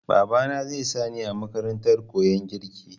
Babana zai sa ni a makarantar koyan girki.